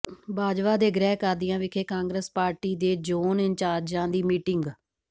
ਬਾਜਵਾ ਦੇ ਗ੍ਰਹਿ ਕਾਦੀਆਂ ਵਿਖੇ ਕਾਂਗਰਸ ਪਾਰਟੀ ਦੇ ਜੋਨ ਇੰਚਾਰਜਾਂ ਦੀ ਮੀਟਿੰਗ